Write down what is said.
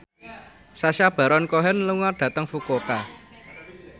Sacha Baron Cohen lunga dhateng Fukuoka